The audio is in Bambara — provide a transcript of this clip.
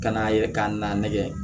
Ka n'a yɛrɛ ka n'a nɛgɛ